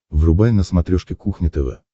врубай на смотрешке кухня тв